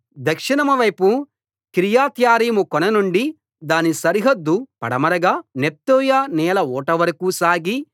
దక్షిణం వైపు కిర్యత్యారీము కొననుండి దాని సరిహద్దు పడమరగా నెఫ్తోయ నీళ్ల ఊటవరకూ సాగి